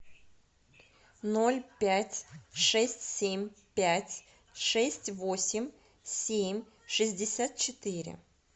ноль пять шесть семь пять шесть восемь семь шестьдесят четыре